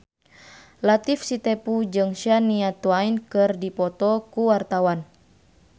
Latief Sitepu jeung Shania Twain keur dipoto ku wartawan